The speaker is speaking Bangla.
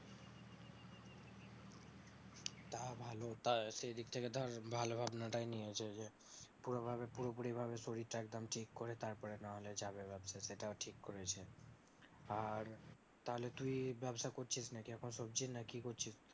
তা ভালো তা সেইদিক থেকে তো ভালো ভাবনাটাই নিয়েছে যে পুরো ভাবে পুরোপুরি ভাবে শরীরটা একদম ঠিক করা তারপরে না হলে যাবে ব্যবসা তে সেটাও ঠিক করেছে আর তাহলে তুই ব্যবসা করছিস নাকি সবজির না কি করছিস